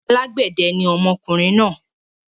Alágbẹ̀dẹ ni ọmọkùnrin náà.